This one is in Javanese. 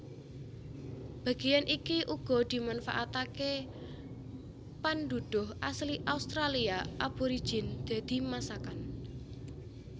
Bagéyan iki uga dimanfaataké pandhudhuh asli Australia aborigin dadi masakan